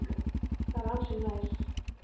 Það er ansi næs.